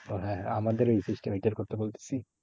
ওহ হ্যাঁ হ্যাঁ আমাদের এই system এইটার কথা বলতেছি।